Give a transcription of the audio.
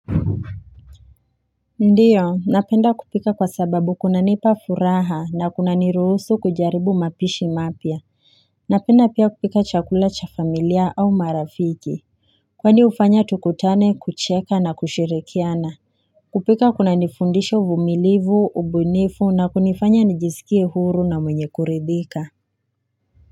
Ndiyo napenda kupika kwa sababu kunanipa furaha na kunanirusu kujaribu mapishi mapya Napenda pia kupika chakula cha familia au marafiki Kwani hufanya tukutane kucheka na kushirikiana kupika kuna nifundisha vumilivu ubunifu na kunifanya nijisikie huru na mwenye kuredhika.